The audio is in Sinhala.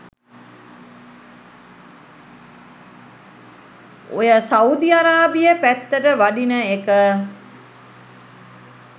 ඔය සවුදි අරාබිය පැත්තට වඩින එක